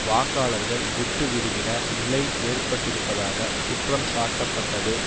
வாக்காளர்கள் விட்டு விடுகிற நிலை ஏற்பட்டிருப்பதாக குற்றம் சாட்டப்பட்டது